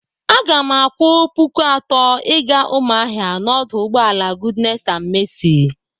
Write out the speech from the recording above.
Aga m akwụ puku atọ ịga Umuahia n'ọdụ ụgbọala goodness and mercy.